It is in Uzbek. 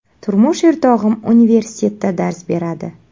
Turmush o‘rtog‘im universitetda dars beradi.